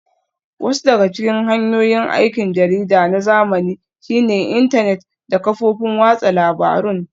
Wasu daga cikin hanyoyin aikin jarida na zamani shine intanet da kafofin watsa labarun